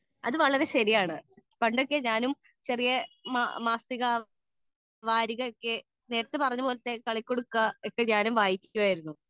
speaker 2 അത് വളരെ ശരിയാണ് പണ്ടൊക്കെ ഞാനും ചെറിയ മാസിക വാരിക ഒക്കെ നേരെത്തെ കളിക്കുടുക്ക ഒക്കെ വായിക്കുമായിരുന്നു